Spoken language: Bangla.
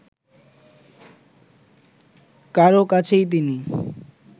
কারও কাছেই তিনি